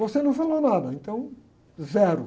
Você não falou nada, então zero.